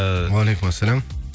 э уалейкүмассалям